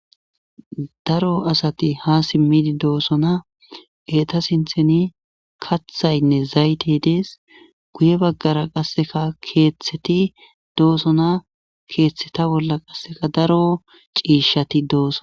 daro asati ha simmidi doosona eeta sintheni kathaynne zaytey dees guye baggara qasseka keeththeti doosona keeththeta bolla qasseka daro ciishati dooso